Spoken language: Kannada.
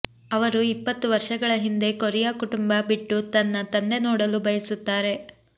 ಅವರು ಇಪ್ಪತ್ತು ವರ್ಷಗಳ ಹಿಂದೆ ಕೊರಿಯಾ ಕುಟುಂಬ ಬಿಟ್ಟು ತನ್ನ ತಂದೆ ನೋಡಲು ಬಯಸುತ್ತಾರೆ